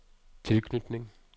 tilknytning